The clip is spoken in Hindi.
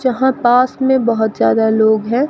यहां पास में बहुत ज्यादा लोग हैं।